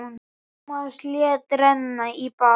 Tómas lét renna í bað.